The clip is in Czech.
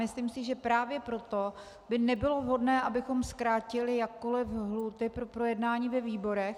Myslím si, že právě proto by nebylo vhodné, abychom zkrátili jakkoliv lhůty pro projednání ve výborech.